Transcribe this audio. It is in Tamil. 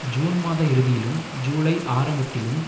ஜூன் மாத இறுதியிலும் ஜூலை ஆரம்பத்திலும்